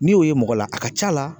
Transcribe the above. N'i y'o ye mɔgɔ la a ka ca la